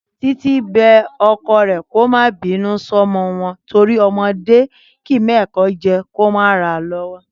Títí bẹ ọkọ rẹ̀ kó má bínú sọ́mọ́ wọn torí ọmọdé ò lè mọ ẹ̀kọ́ jẹ kó má ráa lọ́wọ́